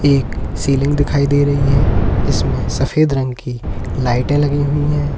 एक सीलिंग दिखाई दे रही है इसमें सफेद रंग की लाइटें लगी हुई हैं।